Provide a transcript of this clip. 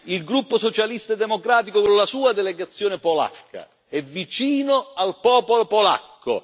Il gruppo Socialista e Democratico con la sua delegazione polacca è vicino al popolo polacco.